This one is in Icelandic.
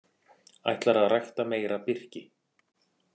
Ætlar að rækta meira birki